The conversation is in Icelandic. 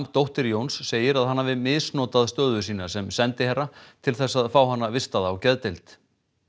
dóttir Jóns segir að hann hafi misnotað stöðu sína sem sendiherra til þess að fá hana vistaða á geðdeild